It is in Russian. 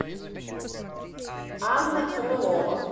анна крылова